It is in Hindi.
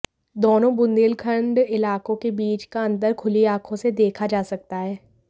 दोनों बुन्देलखण्ड इलाकों के बीच का अन्तर खुली आंखों से देखा जा सकता है